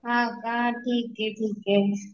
हा का ठिके ठिके